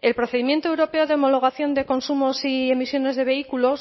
el procedimiento europeo de homologación de consumos y emisiones de vehículos